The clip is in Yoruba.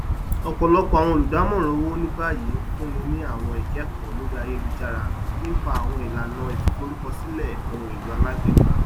ọpọlọpọ àwọn olùdámọràn owó ní báyìí ń fúnni ní àwọn ikẹkọọ lórí ayélujára nípa àwọn ìlànà fíforúkọsílẹ ohunèlò alágbèéká